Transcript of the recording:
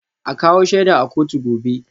A kawo shaida a kotu gobe